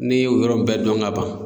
Ne y'o yɔrɔ in bɛɛ dɔn ka ban.